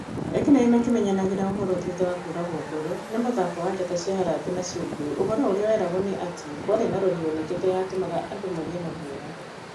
Ekinai makĩmenyanagĩra ũhoro thutha wa kũragũo ngoro nĩ mũthako wa njata cia Harambee na ciungũyũ, ũhoro ũrĩa weragwo nĩ atĩ kwarĩ na rori yanokete yatũmaga andũ magĩe na guoya.